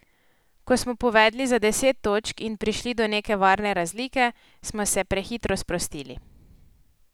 Ko smo povedli za deset točk in prišli do neke varne razlike, smo se prehitro sprostili.